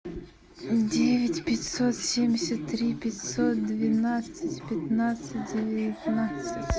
девять пятьсот семьдесят три пятьсот двенадцать пятнадцать девятнадцать